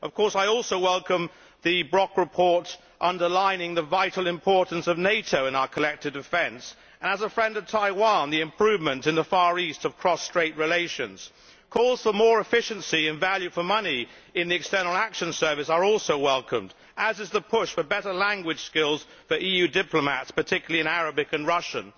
I also welcome the Brok report underlining the vital importance of NATO in our collective defence and, as a friend of Taiwan, the improvement in the Far East of Cross-Strait relations. Calls for more efficiency and value for money in the External Action Service are also welcomed, as is the push for better language skills for EU diplomats, particularly in Arabic and Russian.